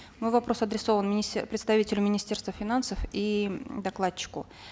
мой вопрос адресован представителю министерства финансов и докладчику